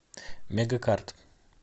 мегакарт